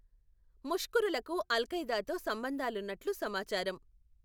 ముష్కరులకు అల్ఖైదాతో సంబంధాలున్నట్లు సమాచారం.